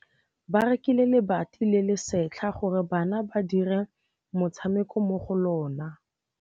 Ba rekile lebati le le setlha gore bana ba dire motshameko mo go lona.